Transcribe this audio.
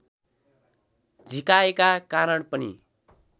झिकाएका कारण पनि